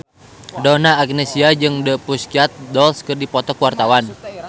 Donna Agnesia jeung The Pussycat Dolls keur dipoto ku wartawan